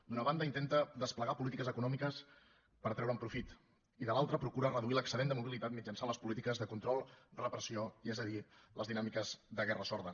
d’una banda intenta desplegar polítiques econòmiques per treure’n profit i de l’altra procura reduir l’excedent de mobilitat mitjançant les polítiques de control repressió és a dir les dinàmiques de guerra sorda